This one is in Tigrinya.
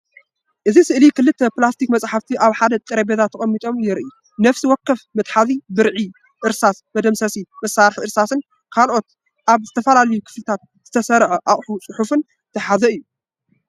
እቲ ስእሊ ክልተ ፕላስቲክ መጽሓፍቲ ኣብ ሓደ ጠረጴዛ ተቐሚጦም የርኢ። ነፍሲ ወከፍ መትሓዚ ብርዒ፡ እርሳስ፡ መደምሰሲ፡ መሳርሒ እርሳስን ካልእ ኣብ ዝተፈላለየ ክፍልታት ዝተሰርዐ ኣቕሑ ጽሑፍን ዝሓዘ እዩ።